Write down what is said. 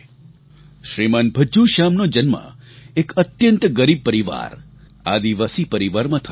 શ્રીમાન ભજ્જૂ શ્યામનો જન્મ એક અત્યંત ગરીબ પરિવાર આદિવાસી પરિવારમાં થયો હતો